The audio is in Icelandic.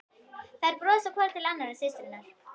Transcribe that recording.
Þær brosa hvor til annarrar, systurnar.